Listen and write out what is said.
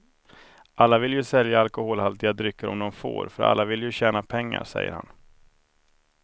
Alla vill ju sälja alkoholhaltiga drycker om de får, för alla vill ju tjäna pengar, säger han.